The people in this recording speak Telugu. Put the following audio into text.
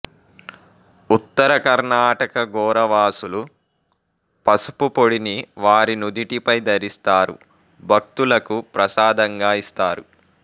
ఉత్తర కర్ణాటక గోరవాసులు పసుపు పొడిని వారి నుదిటిపై ధరిస్తారు భక్తులకు ప్రసాదంగా ఇస్తారు